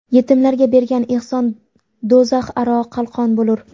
Yetimlarga bergan ehson do‘zax aro qalqon bo‘lur.